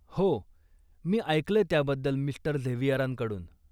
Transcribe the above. हो, मी ऐकलंय त्याबद्दल मि. झेवियरांकडून.